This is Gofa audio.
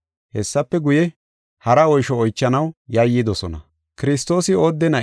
Hessafe guye, hara oysho oychanaw yayyidosona.